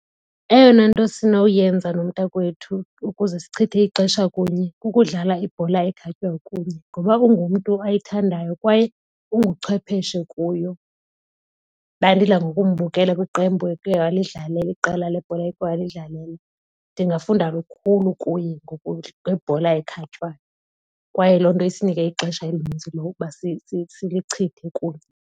Eyona nto esinoyenza nomntakwethu ukuze sichithe ixesha kunye kukudlala ibhola ekhatywayo kunye ngoba ungumntu ayithandayo kwaye unguchwepheshe kuyo. Ndandidla ngokumbukela kwiqembu eke walidlalela iqela lebhola eke walidlalela. Ndingafunda lukhulu kuye ngebhola ekhatywayo kwaye loo nto isinike ixesha elinintsi lokuba silichithe kunye.